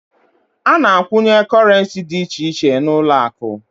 A na a kwunye korenci dị iche iche n'uloaku